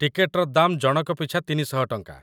ଟିକେଟର ଦାମ୍‌ ଜଣକ ପିଛା ୩୦୦ ଟଙ୍କା।